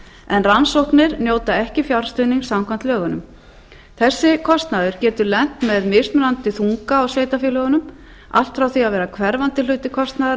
en rannsóknir njóta ekki fjárstuðnings samkvæmt lögunum þessi kostnaður getur lent með mismunandi þunga á sveitarfélögunum allt frá því að vera hverfandi hluti kostnaðar